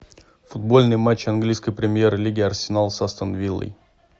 футбольный матч английской премьер лиги арсенал с астон виллой